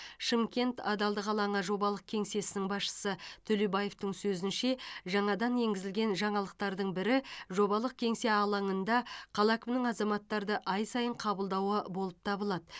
шымкент адалдық алаңы жобалық кеңсесінің басшысы төлебаевтың сөзінше жаңадан енгізілген жаңалықтардың бірі жобалық кеңсе алаңында қала әкімінің азаматтарды ай сайын қабылдауы болып табылады